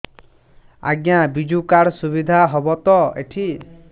ଆଜ୍ଞା ବିଜୁ କାର୍ଡ ସୁବିଧା ହବ ତ ଏଠି